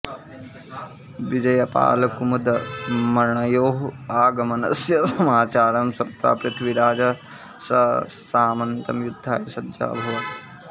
विजयपालकुमदमण्योः आगमनस्य समाचारं श्रुत्वा पृथ्वीराजः ससामन्तं युद्धाय सज्जः अभवत्